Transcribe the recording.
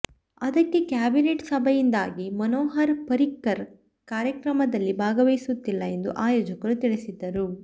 ಆದರೆ ಕ್ಯಾಬಿನೆಟ್ ಸಭೆಯಿಂದಾಗಿ ಮನೋಹರ್ ಪರಿಕ್ಕರ್ ಕಾರ್ಯಕ್ರಮದಲ್ಲಿ ಭಾಗವಹಿಸುತ್ತಿಲ್ಲ ಎಂದು ಆಯೋಜಕರು ತಿಳಿಸಿದ್ದರು